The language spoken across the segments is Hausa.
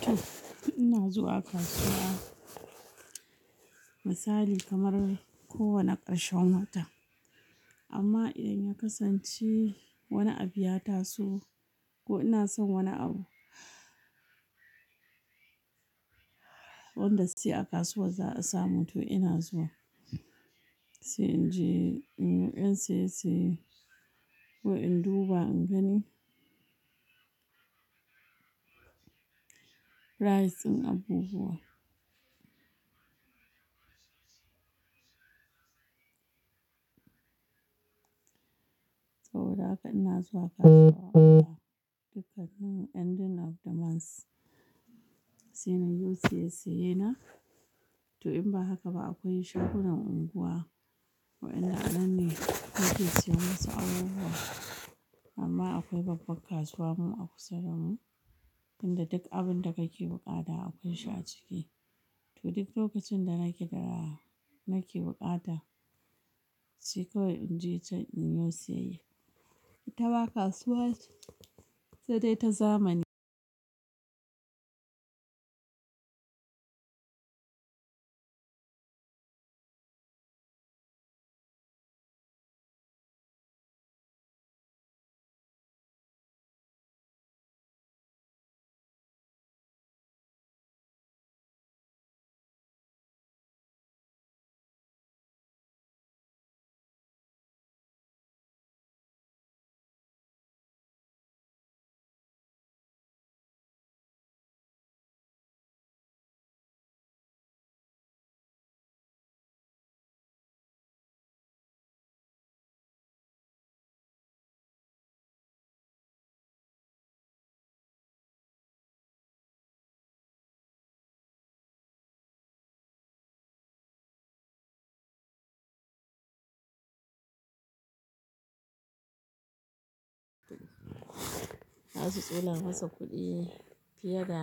To, ina zuwa kasuwa misali kamar kowane karshen wata. Amma idan ya kasance wani abu ya taso ko ina son wani abu wanda sai a kasuwar za'a samu to ina zuwa. Sai inje inyi ƴan saye saye ko in duba in gani prize ɗin abubuwa. To, haka ina zuwa kasuwa duk a cikin ending of the month sai nayo saye saye na. To in ba haka ba akwai shagunan unguwa waɗanda anan ne muke siyan masu abubuwa. Amma akwai babbar kasuwa mu a kusa damu wanda duk abinda kake buƙata akwai shi a ciki. To duk lokacin da nake da nake buƙata sai kawai inje can inyo siyayya. Itama kasuwa sai dai ta zamani. Zasu tsola masa kuɗi fiye da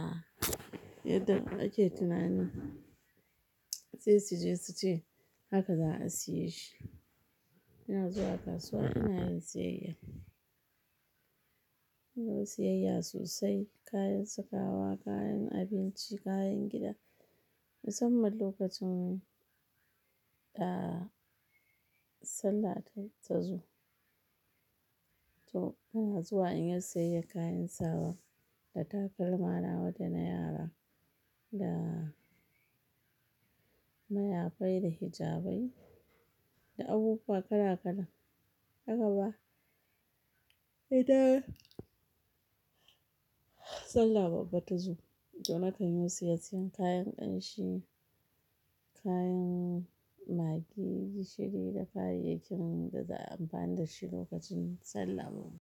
yadda ake tunani. Sai suje suce haka za'a siye shi. Ina zuwa kasuwa ina yin siyayya. Ina siyayya sosai, kayan sakawa, kayan abinci, kayan gida. Musamman lokacin, ah, Sallah ta tazo. To ina zuwa inyi siyayyar kayan sawa da takalma nawa dana yara da mayafai da hijabai da abubuwa kala-kala. Haka ba? Idan Sallah babba tazo to nakan yo siye siyan, kayan ƙanshi, kayan magi, gishiri da kayayyakin da za"ayi amfani dashi lokacin Sallah babba.